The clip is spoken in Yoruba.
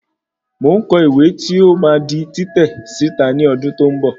Mo ń kọ ìwé tí ó máa di títẹ̀ síta ní ọdún tí ó ń bọ̀